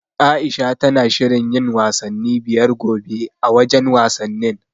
Aisha tana shirin yin wasanni biyar gobe, a wajen wasannin.